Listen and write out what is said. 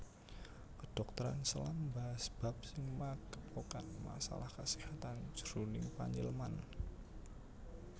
Kedhokteran selam mbahas bab sing magepokan masalah kaséhatan jroning panyileman